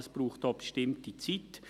Das braucht auch eine bestimmte Zeit.